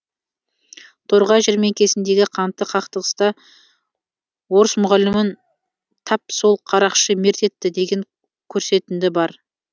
торғай жәрмеңкесіндегі қанды қақтығыста орыс мұғалімін тап сол қарақшы мерт етті деген көрсетінді бар